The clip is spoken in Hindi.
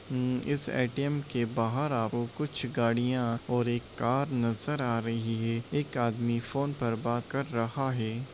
हम्म इस ए.टी.एम . के बाहर आप को कुछ गाड़ियां और एक कार नज़र आ रही है एक आदमी फ़ोन पर बात कर रहा है ।